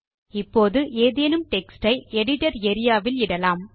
இப்போது ஏதேனும் டெக்ஸ்ட் யை எடிட்டர் ஏரியா ல் இடலாம்